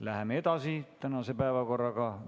Läheme tänase päevakorraga edasi.